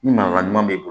Ni marala ɲuman b'i bolo